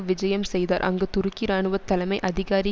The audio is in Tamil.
விஜயம் செய்தார் அங்கு துருக்கி இராணுவ தலைமை அதிகாரி